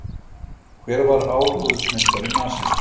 Hver var áróðursmeistari Nasista?